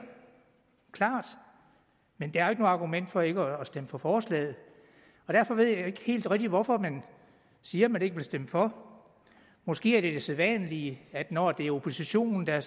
klart men det er jo ikke noget argument for ikke at stemme for forslaget derfor ved jeg ikke helt rigtig hvorfor man siger man ikke vil stemme for måske er det det sædvanlige at når det er oppositionen der